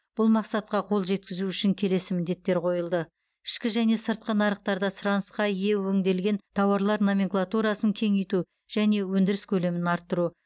бұл мақсатқа қол жеткізу үшін келесі міндеттер қойылды ішкі және сыртқы нарықтарда сұранысқа ие өңделген тауарлар номенклатурасын кеңейту және өндіріс көлемін арттыру